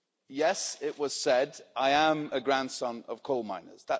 Yes, as it was said, I am a grandson of coal miners.